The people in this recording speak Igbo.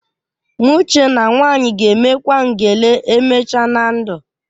M chee na nwaanyị ga-emekwa ngele emechaa na ndụ